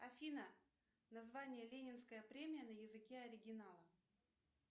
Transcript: афина название ленинская премия на языке оригинала